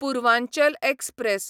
Purvanchal express